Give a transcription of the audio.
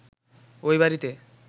ওই বাড়িতে